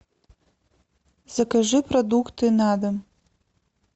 закажи продукты на дом